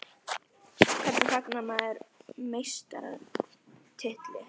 Hvernig fagnar maður meistaratitli?